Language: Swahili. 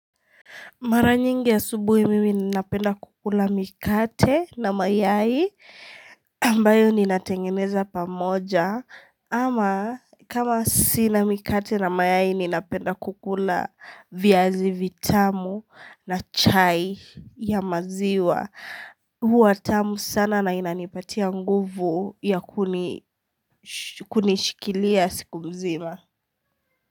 Maranyingi asubuhi mimi ninapenda kukula mikate na mayai ambayo ninatengeneza pamoja ama kama sina mikate na mayai ninapenda kukula viazi vitamu na chai ya maziwa huwa tamu sana na inanipatia nguvu ya kunishikilia siku mzima.